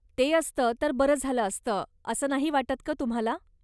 ते असतं तर बरं झालं असतं असं नाही वाटत का तुम्हाला.